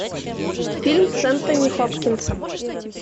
фильм с энтони хопкинсом